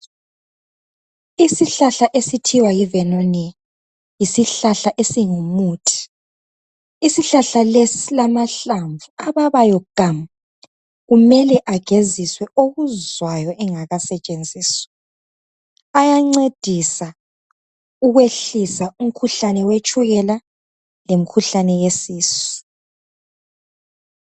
Isihlahla esithiwa yivernonia, yisihlahla esingumuthi. Isihlahla lesi silamahlamvu ababayo gamu, kumele ageziswe okuzwayo engakasetshenziswa, ayancedisa ukwehlisa imikhuhlane yetshukela lemikhuhlane yesisu.